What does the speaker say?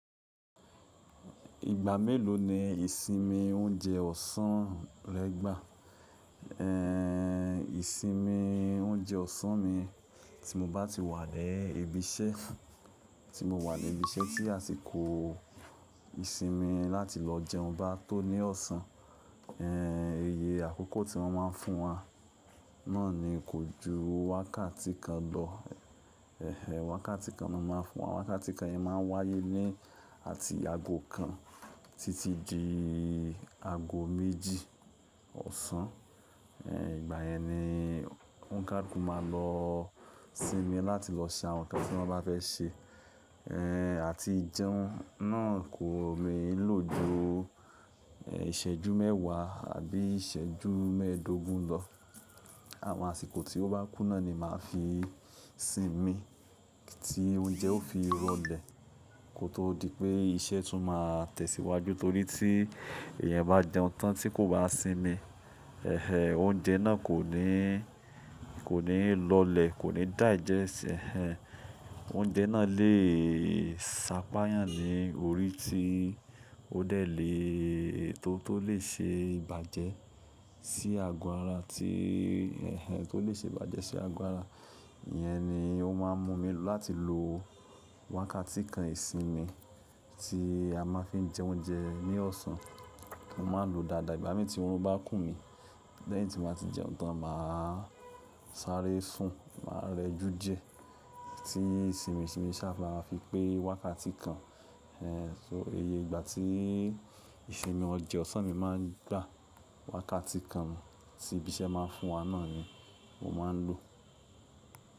Ìgbà mélòó ni ìsinmi oúnjẹ ọ̀sán rẹ gbà? Ehn, ìsinmi oúnjẹ ọ̀sán mi tí mo bá ti wà lẹ́ ibi iṣẹ́, tí mo wà ni ibi iṣẹ́ tí àsìkò ìsinmi láti lọ jẹun bá tó ní ọ̀sán, iye àkọ́kọ́ tí wọ́n má ń fún wa náà ni kò ju wákàtí kan lọ. Ehn, wákàtí kan ni wọ́n má ń fún wa. Wákàtí kan yẹn má ń wáyé ní àti ago kan títí di ago méjì ọ̀sán. Ìgbà yẹn ni onkaluku máa lọ sinmi láti lọ ṣe àwọn nǹkan tí wọ́n bá fẹ́ ṣe. Ehn, àti jẹun náà kò lè lọ ju, ìṣẹ́jú mẹ́wàá àbí ìṣẹ́jú mẹ́ẹ̀dógún lọ. Àwọn àsìkò tí ó bá kún náà ni màá fi sinmi tí oúnjẹ ó fi rọ̀lẹ́ kó tó di pé iṣẹ́ tún máa tẹ̀síwájú. Torí tí èèyàn bá jẹun tán tí kò bá sinmi, oúnjẹ náà kò ní, kò ní lọ̀lẹ́, kò ní digest, ehn, oúnjẹ náà lè sápayàn ní orí ti ó dẹ̀ lè tó tó lè ṣe ìbàjẹ́ sí ago ara tí, tó lè ṣe ìbàjẹ́ sí ago ara. Iyẹn ni ó má ń mú mi láti lo wákàtí kan ìsinmi tí a má ń fi jẹ oúnjẹ ní ọ̀sán. Mo má ń lo dáadáa. Ìgbà miì tí oorun bá kun mi lẹ́yìn tí mo bá ti jẹun tán, màá sáré sùn, màá rẹjú diẹ tí sinmi sinmi sá máfi pé wákàtí kan. So iye ìgbà tí ìsinmi ọjọ́ ọ̀sán mi má ń gbà, wákàtí kan tí ibi iṣẹ́ má ń fún wa náà ni mo má ń lò.